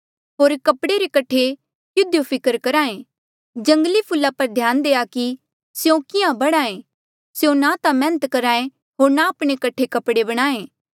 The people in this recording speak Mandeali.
होर कपड़े रे कठे किधियो फिकर करहा ऐें जंगली फूला पर ध्यान देआ कि स्यों किहाँ बढ़हा ऐें स्यों ना ता मैहनत करहा ऐें होर ना आपणे कठे कपड़े बणाहें